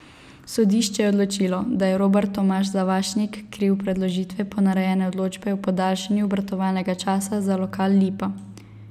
Sodišče je odločilo, da je Robert Tomaž Zavašnik kriv predložitve ponarejene odločbe o podaljšanju obratovalnega časa za lokal Lipa.